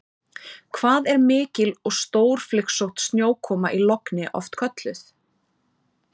Hvað er mikil og stórflygsótt snjókoma í logni oft kölluð?